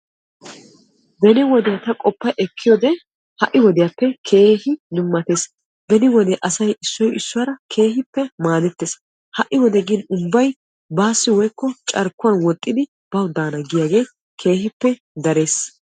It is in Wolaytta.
beni wodee ta qoppa ekkiyode ha'i wodiyaappe keehi dummatees. beni wode asay issoy issuwaara keehippe maadettes. ha'i wode gin ubbay baassi woyikko carkkuwan woxxidi bawu daana giyaagee keehippe dares.